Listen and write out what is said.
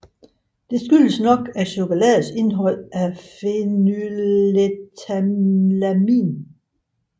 Det skyldtes nok chokoladens indhold af phenylethylamin